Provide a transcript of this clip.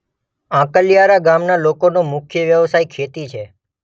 આંકલીયારા ગામના લોકોનો મુખ્ય વ્યવસાય ખેતી